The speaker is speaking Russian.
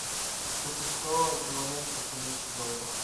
сто песо эквивалент в австралийских долларах